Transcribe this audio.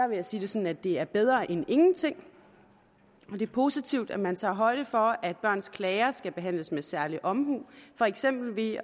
vil jeg sige det sådan at det er bedre end ingenting det er positivt at man tager højde for at børns klager skal behandles med særlig omhu for eksempel ved at